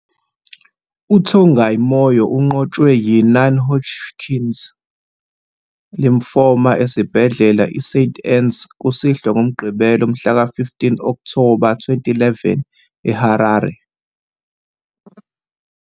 UTongai Moyo unqotshwe yi- non-Hodgkin's lymphoma esibhedlela iSt Anne's kusihlwa ngoMgqibelo mhlaka-15 Okthoba 2011 eHarare.